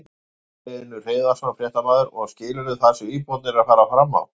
Magnús Hlynur Hreiðarsson, fréttamaður: Og skilurðu það sem íbúarnir eru að fara fram á?